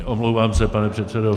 Omlouvám se, pane předsedo.